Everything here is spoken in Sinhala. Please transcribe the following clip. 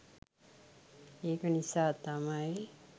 ඒක නිසා තමයි